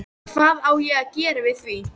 Hvað á ég að gera við því?